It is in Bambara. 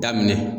Daminɛ